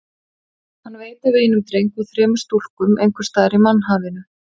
Hann veit af einum dreng og þremur stúlkum einhvers staðar í mannhafinu.